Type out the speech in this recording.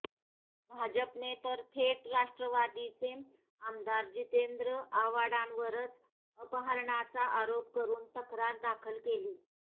भाजपने तर थेट राष्ट्रवादीचे आमदार जितेंद्र आव्हाडांवरच अपहरणाचा आरोप करून तक्रार दाखल केली